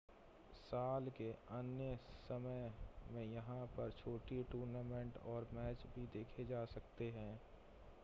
साल के अन्य समय में यहां पर छोटी टूर्नामेंट और मैच भी देखे जा सकते हैं